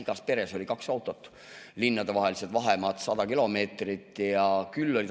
Igas peres oli kaks autot, linnadevahelised vahemaad on 100 kilomeetrit.